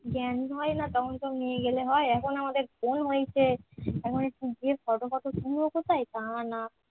জ্ঞান হয়না তখন সব নিয়ে গেলে হয় এখন আমাদের জ্ঞান হয়েছে এখন একটু গিয়ে photo photo তুলবো কোথায় তা না